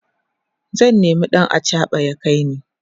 zan nema ɗan achaɓa ya kaini